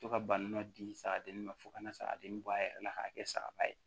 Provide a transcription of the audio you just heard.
To ka balo di sagadennin ma fo ka na sagaden bɔ a yɛrɛ la k'a kɛ sagaba ye